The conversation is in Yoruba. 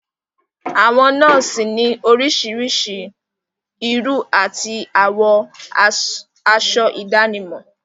Àwọn nọ́ọ̀sì ni orísirísi irú àti àwọ aṣọ ìdánimọ̀.